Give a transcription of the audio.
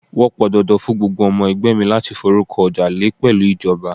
Wọn pọn dandan fún gbogbo ọmọ ẹgbẹ́ mi láti forúkọ ọjà lè pẹ̀lú ìjọba.